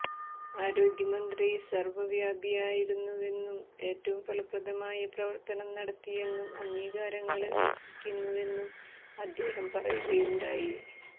ആരോഗ്യമന്ത്രി സര്വ്വവ്യാപി ആയിരുന്നുവെന്നും ഏറ്റവും ഫലപ്രദവുമായ പ്രവര്ത്തനം നടത്തിയെന്നും അംഗീകാരങ്ങള് അര്ഹിക്കുന്നുവെന്നും അദ്ദേഹം പറയുകയുണ്ടായി